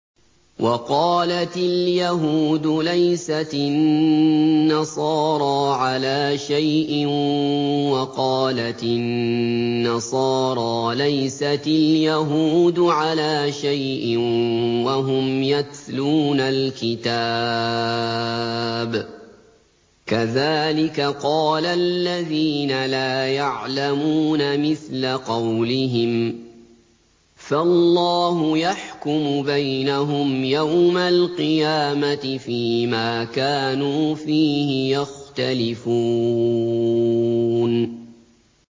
وَقَالَتِ الْيَهُودُ لَيْسَتِ النَّصَارَىٰ عَلَىٰ شَيْءٍ وَقَالَتِ النَّصَارَىٰ لَيْسَتِ الْيَهُودُ عَلَىٰ شَيْءٍ وَهُمْ يَتْلُونَ الْكِتَابَ ۗ كَذَٰلِكَ قَالَ الَّذِينَ لَا يَعْلَمُونَ مِثْلَ قَوْلِهِمْ ۚ فَاللَّهُ يَحْكُمُ بَيْنَهُمْ يَوْمَ الْقِيَامَةِ فِيمَا كَانُوا فِيهِ يَخْتَلِفُونَ